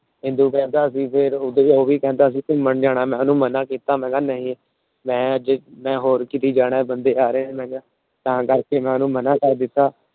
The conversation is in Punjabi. ਇੰਦੂ ਕਹਿੰਦਾ ਫੇਰ ਅਸੀਂ ਉਹ ਵੀ ਕਹਿੰਦਾ ਅਸੀਂ ਘੁੰਮਣ ਜਾਣਾ। ਮੈ ਓਹਨੂੰ ਮਨਾ ਕੀਤਾ ਮੈ ਕਿਹਾ ਨਹੀਂ ਮੈ ਅੱਜ ਹੋਰ ਕਿਤੇ ਜਾਣਾ ਬੰਦੇ ਆ ਰਹੇ ਨੇ ਤਾਂ ਕਰਕੇ ਮੈ ਉਹਨੂੰ ਮਨਾ ਕਰ ਦਿੱਤਾ।